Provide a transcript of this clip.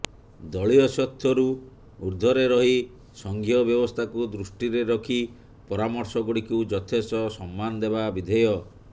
ଦଳୀୟ ସ୍ବାର୍ଥରୁ ଊର୍ଦ୍ଧ୍ବରେ ରହି ସଙ୍ଘୀୟ ବ୍ୟବସ୍ଥାକୁ ଦୃଷ୍ଟିରେ ରଖି ପରାମର୍ଶଗୁଡିକୁ ଯଥେଷ୍ଟ ସମ୍ମାନ ଦେବା ବିଧେୟ